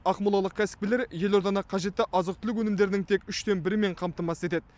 ақмолалық кәсіпкерлер елорданы қажетті азық түлік өнімдерінің тек үштен бірімен қамтамасыз етеді